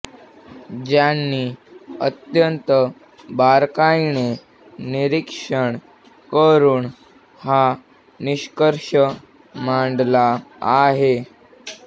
ज्यांनी अत्यंत बारकाईने निरीक्षण करून हा निष्कर्ष मांडला आहे